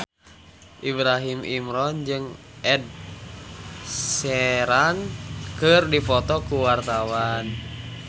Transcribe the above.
Ibrahim Imran jeung Ed Sheeran keur dipoto ku wartawan